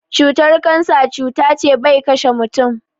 Cutar kansa cuta ce ɓai ƙashe mutum.